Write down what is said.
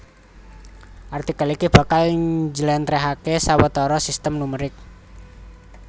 Artikel iki bakal njlèntrèhaké sawetara sistem numerik